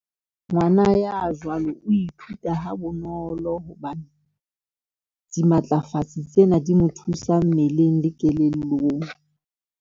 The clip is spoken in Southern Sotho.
Ngwana ya jwalo o ithuta ha bonolo, hobane dimatlafatsi tsena di mo thusa mmeleng le kelellong.